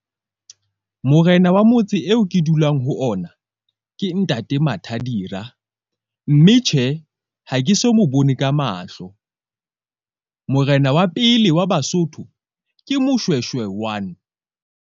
Morena wa motse eo ke dulang ho ona, ke ntate Matha Dira. Mme tjhe, ha ke so mo bone ka mahlo. Morena wa pele wa Basotho ke Moshweshwe one.